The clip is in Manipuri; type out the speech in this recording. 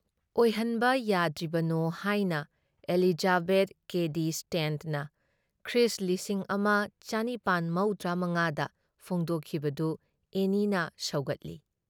ꯑꯣꯏꯍꯟꯕ ꯌꯥꯗ꯭ꯔꯤꯕꯅꯣ ꯍꯥꯏꯅ ꯑꯦꯂꯤꯖꯥꯕꯦꯊ ꯀꯦꯗꯤ ꯁ꯭ꯇꯦꯟꯠꯅ ꯈ꯭ꯔꯤꯁ ꯂꯤꯁꯤꯡ ꯑꯃ ꯆꯅꯤꯄꯥꯟ ꯃꯧꯗ꯭ꯔꯥ ꯃꯉꯥ ꯗ ꯐꯣꯡꯗꯣꯛꯈꯤꯕꯗꯨ ꯑꯦꯅꯤꯅ ꯁꯧꯒꯠꯂꯤ ꯫